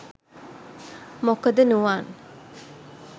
මොකද නුවන්